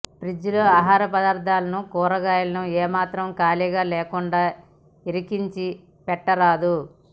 fridge లో ఆహార పదార్థాలను కూరగాయలను ఏమాత్రం ఖాళీ లేకుండా ఇరికించి పెట్టరాదు